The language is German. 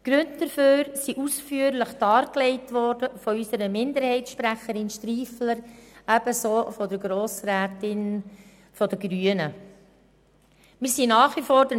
Die Gründe dafür sind von unserer Minderheitssprecherin Grossrätin Striffeler und von der Grossrätin der Grünen ausführlich dargelegt worden.